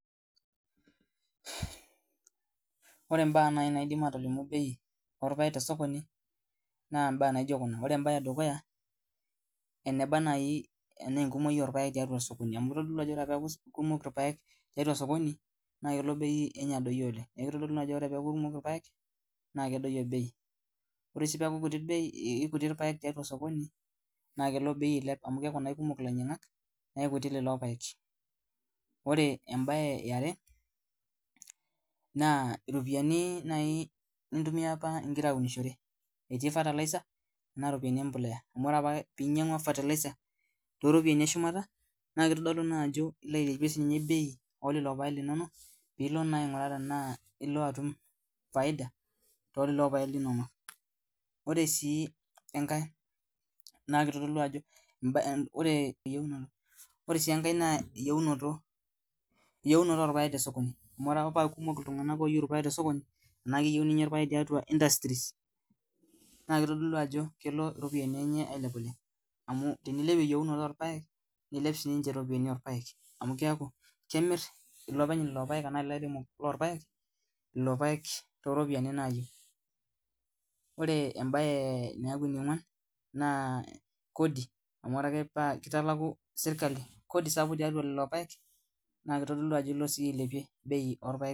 Ore mbaa naidim atolimu bei orpaek tee sokoni naa mbaa naijio Kuna ore mbae edukuya naa ene baa naaji enaa enkumoki orpaek tiatua sokoni amu tenekumoku irpaek tiatua sokoni naa kitodolu Ajo kelo bei enye adoyio oleng neeku tekuu irpaek kumok naa kelo bei adoyio kake teneku kutik naa kelo bei ailep amu keeku Kumon elainyiangak neeku kiti irpaek ore mbae are naa eropiani apa nintumia egira aunishore etii fertilizer Kuna ripopiani embolea amu ore apa pee enyiangua fertilizer etii eropiani shumata naa kitodolu Ajo elo ailepie sininye bei elelo paek linono pilo aing'uraa tenaa elo atum faida telelo paek linono ore sii enkae naa eyiunoto orpaek tee sokoni amu tenaa keyieuni ninye irpaek tee industries naa kitodolu Ajo kelo eropiani enye ailep oleng amu tenilep eyiunoto orpaek nilep sininche irpaek oleng amu keeku kemiri elopeny lelo paek eropiani nayieu ore mbae naaku enionguan naa Kodi ore akee peeku kitaluku sirkali Kodi tiatua lelo paek naa kitodolu Ajo elo siiyie ailepie bei orpaek